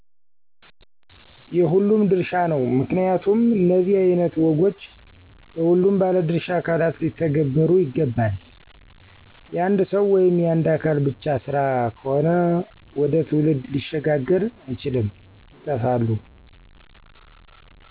የሁሉም ድርሻ ነው። ምክንያቱም እነዚህ አይነት ወጎች በሁሉም ባለድሻ አካላት ሊተነበሩ ይገባል። የአንድ ሰዉ ወይም የአንድ አካል ብቻ ስራ ከሆነ ወደ ትውልድ ሊሸጋገር አይችልም ይጠፋሉ።